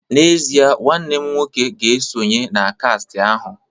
N'ezie, nwanne m nwoke ga esonye na kast ahu